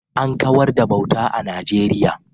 An kawar da bauta a Najeriya